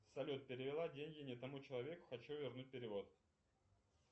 салют перевела деньги не тому человеку хочу вернуть перевод